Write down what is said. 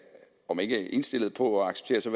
om ikke indstillet på at acceptere så